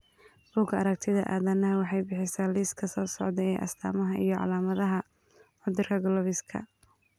Bugaa aragtida aDdanaha waxay bixisaa liiska soo socda ee astamaha iyo calaamadaha cudurka CLOVESKA